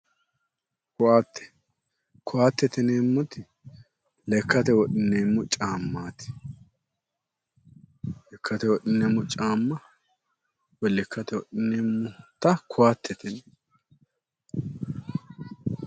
Ko'atte. Ko'attete yineemmoti lekkate wodhineemmo caammaati. Lekkate wodhineemmo caamma woyi lekkate wodhineemmota ko'attete yineemmo.